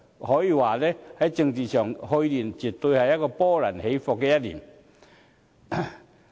可以說，在政治上，去年絕對是波濤起伏的一年。